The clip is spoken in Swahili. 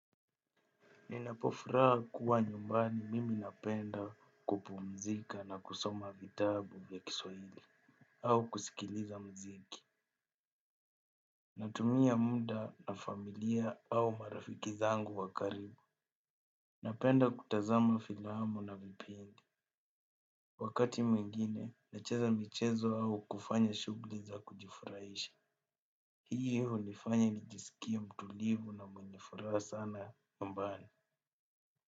Ninapofuraha kuwa nyumbani mimi napenda kupumzika na kusoma vitabu vya kiswahili au kusikiliza muziki. Natumia muda na familia au marafiki zangu wa karibu. Napenda kutazama filamu na vipindi. Wakati mwingine nacheza michezo au kufanya shughuli za kujifurahisha hiyo hunifanya nijisikie mtulivu na mwenye furaha sana nyumbani.